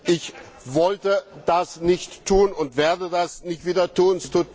Ich wollte das nicht tun und werde das nicht wieder tun.